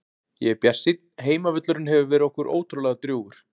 Ég er bjartsýnn, heimavöllurinn hefur verið okkur ótrúlega drjúgur.